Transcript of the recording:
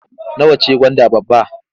Nawa ce gwanda babba?